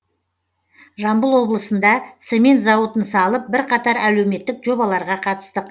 жамбыл облысында цемент зауытын салып бірқатар әлеуметтік жобаларға қатыстық